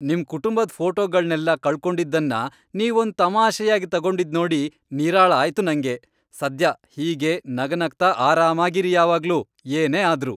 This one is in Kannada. ನಿಮ್ ಕುಟುಂಬದ್ ಫೋಟೋಗಳ್ನೆಲ್ಲ ಕಳ್ಕೊಂಡಿದ್ದನ್ನ ನೀವೊಂದ್ ತಮಾಷೆಯಾಗ್ ತಗೊಂಡಿದ್ನೋಡಿ ನಿರಾಳ ಆಯ್ತು ನಂಗೆ, ಸದ್ಯ ಹೀಗೇ ನಗನಗ್ತಾ ಆರಾಮಾಗಿರಿ ಯಾವಾಗ್ಲೂ, ಏನೇ ಆದ್ರೂ.